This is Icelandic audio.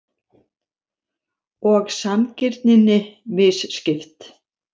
Og sanngirninni misskipt.